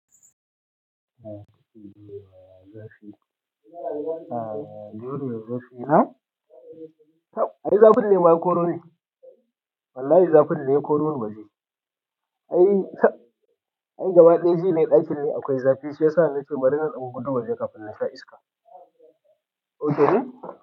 Zafi. A'a, yaron da ya zafi ina? Ai, zafin ne ma ya koro ni. Wallahi zafin ne ya kori ni waje. Ai, ai gaba ɗaya ji nai ɗakin ne akwai zafi shiyasa nace bari na dan fito waje kafin na sha iska. Ok ne.